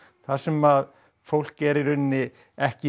þar sem fólk er í rauninni ekki í